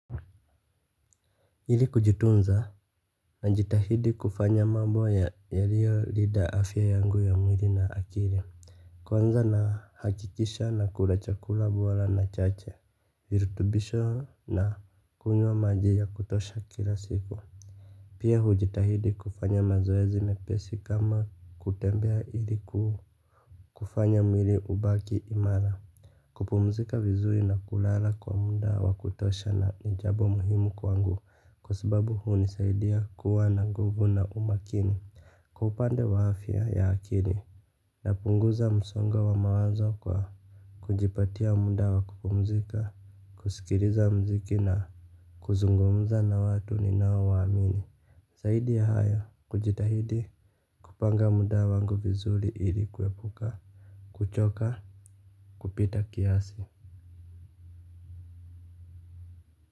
Ili kujitunza najitahidi kufanya mambo yaliyo linda afya yangu ya mwili na akili. Kwanza nahakikisha nakula chakula bora na chache, virutubisho na kunywa maji ya kutosha kila siku. Pia hujitahidi kufanya mazoezi mepesi kama kutembea ili kufanya mwili ubaki imara. Kupumzika vizuri na kulala kwa muda wa kutosha na ni jabo muhimu kwangu. Kwa sababu hunisaidia kuwa na guvu na umakini. Kwa upande wa afya ya akili napunguza msongo wa wa mawazo kwa kujipatia muda wa kupumzika kusikiliza mziki na kuzungumza na watu ninao waamini zaidi ya haya kujitahidi kupanga muda wangu vizuri ili kuepuka kuchoka kupita kiasi.